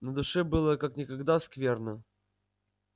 на душе было как никогда скверно